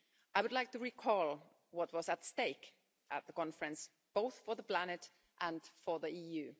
I would like to recall what was at stake at the conference, both for the planet and for the EU.